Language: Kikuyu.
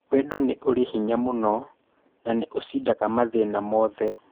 Wendo nĩ ũrĩ hinya mũno na nĩũcindaga mathĩna mothe.